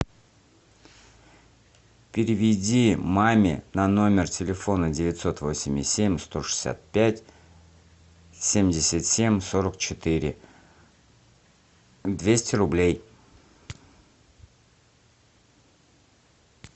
переведи маме на номер телефона девятьсот восемьдесят семь сто шестьдесят пять семьдесят семь сорок четыре двести рублей